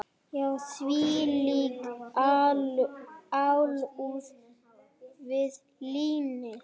Já, þvílík alúð við línið.